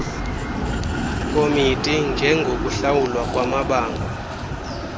committee njengokuhlawulwa kwamabango